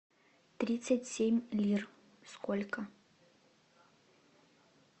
тридцать